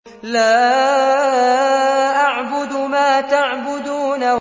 لَا أَعْبُدُ مَا تَعْبُدُونَ